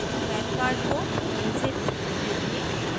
pan card को mail से भेजने के लिए